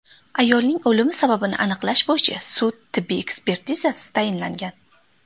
Ayolning o‘limi sababini aniqlash bo‘yicha sud-tibbiy ekspertizasi tayinlangan.